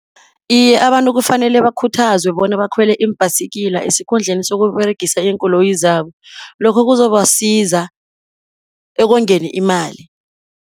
Iye abantu kufanele bakhuthazwe bona bakhwele iimbhayisigila, esikhundleni sokuberegisa iinkoloyi zabo. Lokho kuzobasiza ekongeni imali.